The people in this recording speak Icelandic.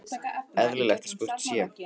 Eðlilegt að spurt sé.